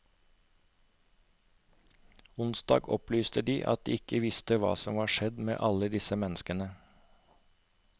Onsdag opplyste de at de ikke visste hva som var skjedd med alle disse menneskene.